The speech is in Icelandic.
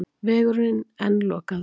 Vegurinn enn lokaður